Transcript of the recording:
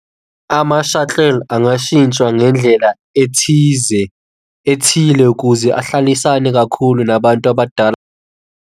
Ama-shuttle angashitsha ngendlela ethize, ethile ukuze ahlalisane kakhulu nabantu abadala.